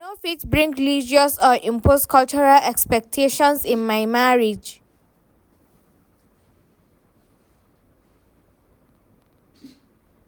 I no fit bring religious or imposed cultural expectations in my marriage.